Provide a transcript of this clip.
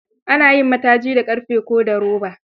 Ana yin mataji da ƙarfe ko da roba.